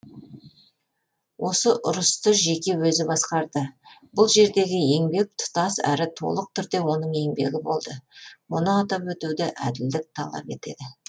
осы ұрысты жеке өзі басқарды бұл жердегі еңбек тұтас әрі толық түрде оның еңбегі болды мұны атап өтуді әділдік талап етеді